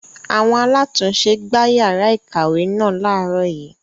Àwọn alátùn-ún-se gbá yàrá ìkàwé náà láàrọ́ yìí.